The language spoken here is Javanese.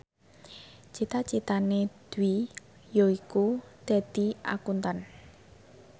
cita citane Dwi yaiku dadi Akuntan